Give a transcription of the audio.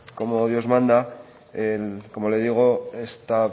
como dios manda como le digo esta